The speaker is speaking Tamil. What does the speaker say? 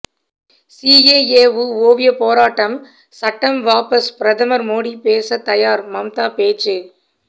சிஏஏவு ஓவிய போராட்டம் சட்டம் வாபஸ் பிரதமர் மோடி பேச தயார் மம்தா பேச்சு